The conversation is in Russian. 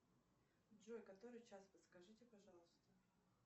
джой который час подскажите пожалуйста